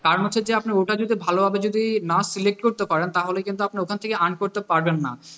কারণ হচ্ছে যে আপনি ওটা যদি ভালোভাবে যদি না select করতে পারেন তাহলে কিন্তু ওখান থেকে earn করতে পারবেন না,